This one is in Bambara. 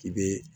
K'i be